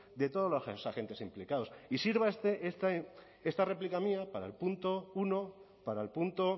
de todos los agentes implicados y sirva esta réplica mía para el punto uno para el punto